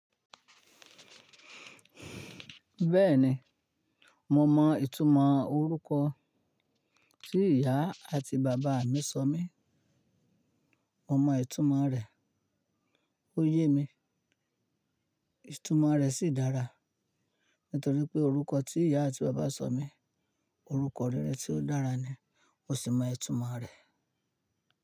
Bẹ́ẹ̀ni, mo mọ ìtumọ̀ orúkọ tí ìyá àti bàbá mi sọ mí. Mo mọ ìtumọ̀ rẹ̀, ó yé mi. Ìtumọ̀ rẹ̀ sì dára nítorí pé orúkọ tí ìyá àti bàbá sọ mí, orúkọ rere tí ó dára ni, mo sì mọ ìtumọ̀ rẹ̀.